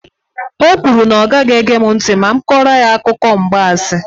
O kwuru na ọ ga-ege mụ ntị ma m kọrọ ya akụkọ mgbansi.